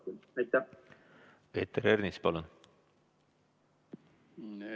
Peeter Ernits, palun!